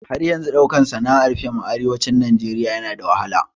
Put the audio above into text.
Har yanzun ɗaukan sana'ar fiim a arewacin Najeriya na da wahala